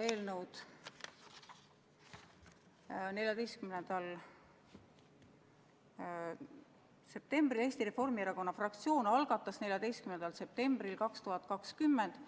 Eesti Reformierakonna fraktsioon algatas 14. septembril 2020